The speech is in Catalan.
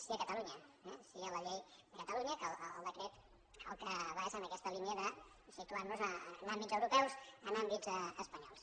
sí a catalunya eh sí a la llei de catalunya que el decret al que va és a aquesta línia de situar nos en àmbits europeus en àmbits espanyols